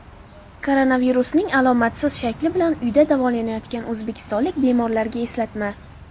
Koronavirusning alomatsiz shakli bilan uyda davolanayotgan o‘zbekistonlik bemorlarga eslatma.